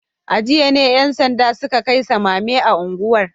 A jiya ne ‘yan sanda suka kai samame a unguwar